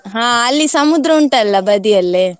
ಹಾ ಅಲ್ಲಿ ಸಮುದ್ರ ಉಂಟಲ್ಲ ಬದಿಯಲ್ಲೇ.